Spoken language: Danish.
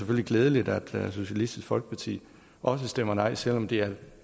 glædeligt at socialistisk folkeparti også stemmer nej selv om det er